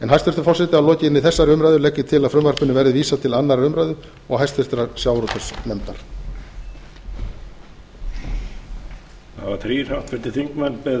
hæstvirtur forseti að lokinni þessari umræðu legg ég til að frumvarpinu verði vísað til annarrar umræðu og háttvirtur sjávarútvegsnefndar